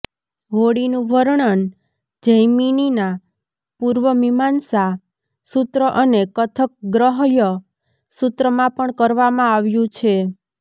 હોળીનું વર્ણન જૈમિનીના પૂર્વમીમાંસા સૂત્ર અને કથક ગ્રહય સૂત્રમાં પણ કરવામાં આવ્યું છે